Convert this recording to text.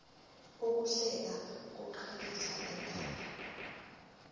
ukuhlela kukhiqiza indaba